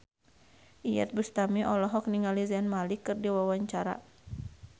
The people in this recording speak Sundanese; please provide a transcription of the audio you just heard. Iyeth Bustami olohok ningali Zayn Malik keur diwawancara